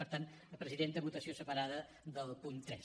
per tant presidenta votació separada del punt tres